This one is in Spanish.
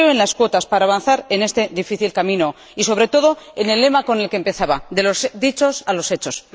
Creo en las cuotas para avanzar en este difícil camino y, sobre todo, en el lema con el que empezaba de los dichos a los hechos.